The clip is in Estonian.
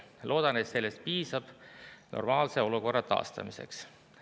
Loodan, et sellest piisab normaalse olukorra taastamiseks.